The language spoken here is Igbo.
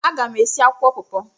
Aga m esi akwụkwọ pọọpọ.